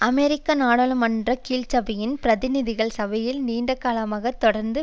அமெரிக்க நாடாளுமன்ற கீழ்சபையில் பிரதிநிதிகள் சபையில் நீண்டகாலமாக தொடர்ந்து